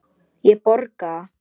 Ég borga.